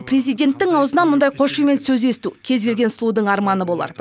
президенттің аузынан мұндай қошемет сөз есту кез келген сұлудың арманы болар